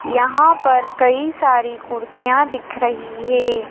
यहां पर कई सारी कुर्सियां दिख रही हैं।